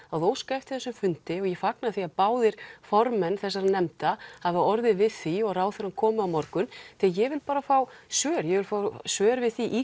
að óska eftir þessum fundi og ég fagna því að báðir formenn þessara nefnda hafi orðið við því og ráðherra komi á morgun því ég vil bara fá svör ég vil fá svör við því í